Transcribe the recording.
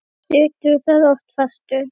Og situr þar oft fastur.